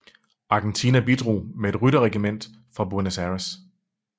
Argentina bidrog med et rytteriregiment fra Buenos Aires